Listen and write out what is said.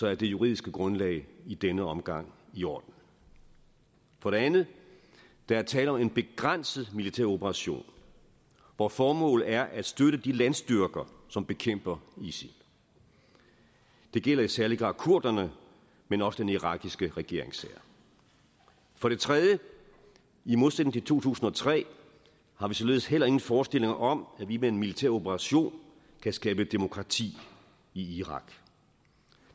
er det juridiske grundlag i denne omgang i orden for det andet der er tale om en begrænset militær operation hvor formålet er at støtte de landstyrker som bekæmper isil det gælder i særlig grad kurderne men også den irakiske regeringshær for det tredje i modsætning til to tusind og tre har vi således heller ingen forestillinger om at vi med en militær operation kan skabe demokrati i irak